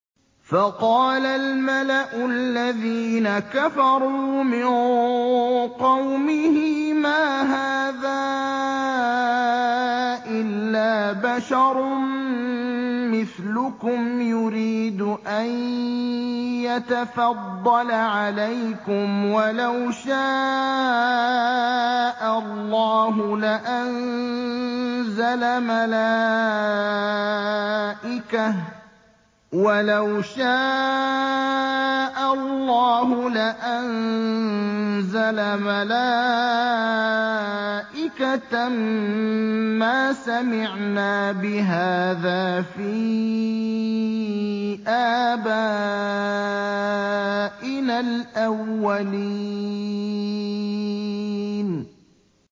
فَقَالَ الْمَلَأُ الَّذِينَ كَفَرُوا مِن قَوْمِهِ مَا هَٰذَا إِلَّا بَشَرٌ مِّثْلُكُمْ يُرِيدُ أَن يَتَفَضَّلَ عَلَيْكُمْ وَلَوْ شَاءَ اللَّهُ لَأَنزَلَ مَلَائِكَةً مَّا سَمِعْنَا بِهَٰذَا فِي آبَائِنَا الْأَوَّلِينَ